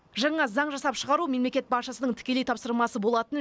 жаңа заң жасап шығару мемлекет басшысының тікелей тапсырмасы болатын